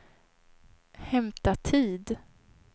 hämta tid